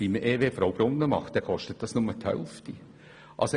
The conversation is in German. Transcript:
Beim EW Fraubrunnen hingegen würde es nur die Hälfte kosten.